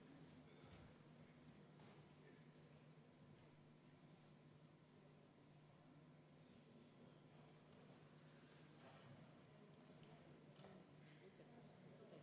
Teine muudatusettepanek, mille esitaja on majanduskomisjon ja majanduskomisjon on seda ise ka arvestanud.